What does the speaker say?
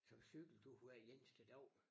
Som cyklede ud hver eneste dag